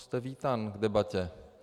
Jste vítán v debatě.